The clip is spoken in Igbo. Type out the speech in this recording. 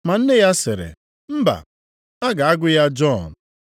ma Nne ya sịrị, “Mba, a ga-agụ ya Jọn.”